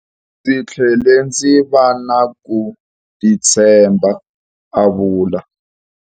Ndzi tlhele ndzi va na ku titshemba, a vula.